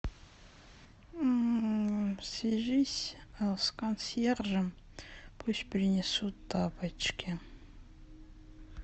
свяжись с консьержем пусть принесут тапочки